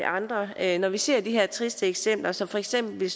andre her når vi ser de her triste eksempler som for eksempel